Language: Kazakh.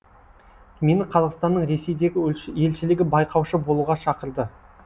мені қазақстанның ресейдегі елшілігі байқаушы болуға шақырды